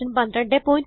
1204